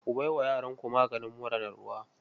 Kuna bai wa yaranku maganin mura na ruwa?